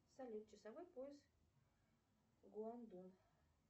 салют часовой пояс гуандун